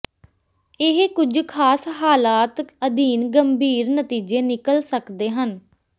ਇਹ ਕੁਝ ਖਾਸ ਹਾਲਾਤ ਅਧੀਨ ਗੰਭੀਰ ਨਤੀਜੇ ਨਿਕਲ ਸਕਦੇ ਹਨ